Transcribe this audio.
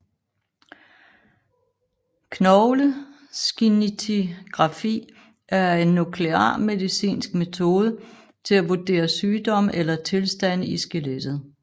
Knogleskintigrafi er en nuklearmedicinsk metode til at vurdere sygdomme eller tilstande i skelettet